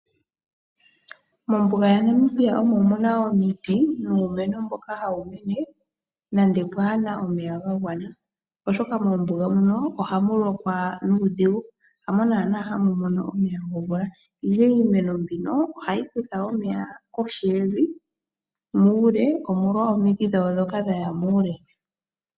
Mombuga yaNamibia omo mu na omiti nuumeno mboka hawu mene, nande pwaa na omeya ga gwana, oshoka moombuga muno oha mu lokwa nuudhigu, hamo naana hamu mono omeya gomvula, ihe iimeno mbino oha yi kutha omeya koshi yevi muule, omolwa omidhi dhayo ndhoka dha ya muule.